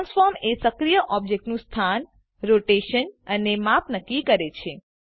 transform એ સક્રીય ઓબજેક્ટનું સ્થાન રોટેશન અને માપ નક્કી કરે છે